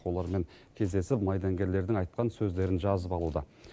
олармен кездесіп майдангерлердің айтқан сөздерін жазып алуда